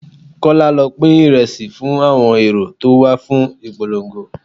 Kọ́lá, lọ pín Ìrẹsì fún àwọn èrò tó wà fún ìpolongo.